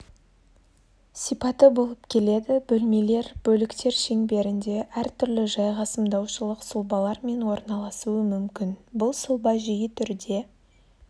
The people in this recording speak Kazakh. сипаты болып келеді бөлмелер бөліктер шеңберінде әр түрлі жайғасымдаушылық сұлбалармен орналасуы мүмкін бұл сұлба жиі түрде